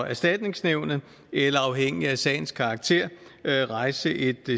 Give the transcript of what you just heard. erstatningsnævnet eller afhængig af sagens karakter rejse et